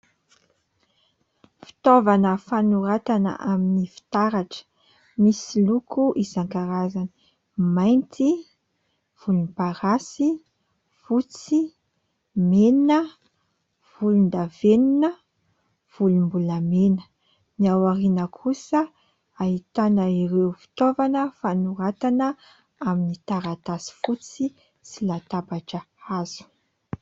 Fitaovana fanoratana amin'ny fitaratra misy loko izankarazany: mainty, volomparasy, fotsy, mena, volondavenona, volombolamena; ny ao aoriana kosa ahitana ireo fitaovana fanoratana amin'ny taratasy fotsy sy latabatra hazo.